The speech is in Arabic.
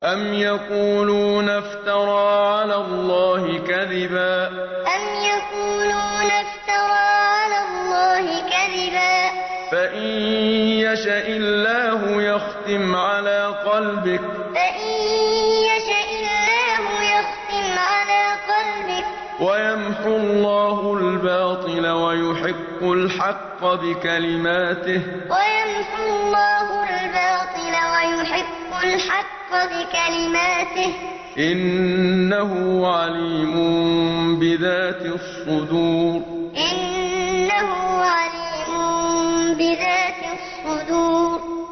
أَمْ يَقُولُونَ افْتَرَىٰ عَلَى اللَّهِ كَذِبًا ۖ فَإِن يَشَإِ اللَّهُ يَخْتِمْ عَلَىٰ قَلْبِكَ ۗ وَيَمْحُ اللَّهُ الْبَاطِلَ وَيُحِقُّ الْحَقَّ بِكَلِمَاتِهِ ۚ إِنَّهُ عَلِيمٌ بِذَاتِ الصُّدُورِ أَمْ يَقُولُونَ افْتَرَىٰ عَلَى اللَّهِ كَذِبًا ۖ فَإِن يَشَإِ اللَّهُ يَخْتِمْ عَلَىٰ قَلْبِكَ ۗ وَيَمْحُ اللَّهُ الْبَاطِلَ وَيُحِقُّ الْحَقَّ بِكَلِمَاتِهِ ۚ إِنَّهُ عَلِيمٌ بِذَاتِ الصُّدُورِ